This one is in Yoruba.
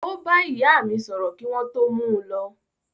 Ó bá ìyá mí sọ̀rọ̀ kí wọ́n tó mú u lọ.